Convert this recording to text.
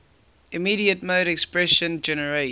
immediate mode expression generates